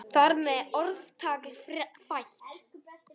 Þar með er orðtak fætt.